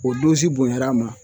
O bonyan'a ma